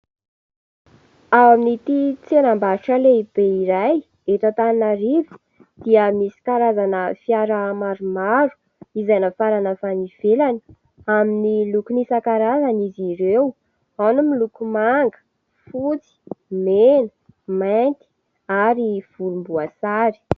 Ao amin'n'ity tsenam-barotra lehibe iray, eto Antananarivo, dia misy karazana fiara maromaro, izay nafarana avy any nivelany. Amin'ny lokony isakarazany izy ireo ao ny miloko manga, fotsy, mena, mainty ary volomboasary.